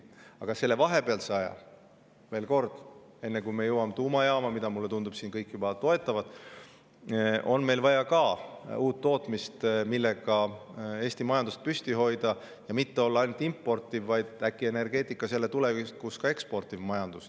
Aga sel vahepealsel ajal, veel kord, enne kui me jõuame tuumajaamani – mulle tundub, et siin kõik juba toetavad seda –, on meil vaja ka uut tootmist, millega Eesti majandust püsti hoida ja mitte olla ainult importiv, vaid tulevikus energeetikas äkki jälle ka eksportiv majandus.